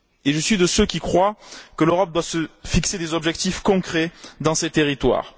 Je suis de ceux qui croient que l'Europe doit se fixer des objectifs concrets dans ces territoires.